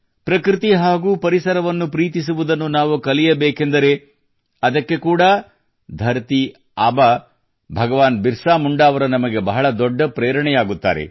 ಪ್ರಕೃತಿ ಹಾಗೂ ಪರಿಸರವನ್ನು ಪ್ರೀತಿಸುವುದನ್ನು ನಾವು ಕಲಿಯಬೇಕೆಂದರೆ ಅದಕ್ಕೆ ಕೂಡಾ ಧರತೀ ಆಬಾ ಭಗವಾನ್ ಬಿರಸಾ ಮುಂಡಾ ಅವರು ನಮಗೆ ಬಹಳ ದೊಡ್ಡ ಪ್ರೇರಣೆಯಾಗುತ್ತಾರೆ